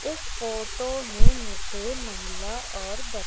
इस फोटो में मुझे महिला और ब--